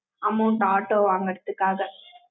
amount, auto வாங்கறதுக்காக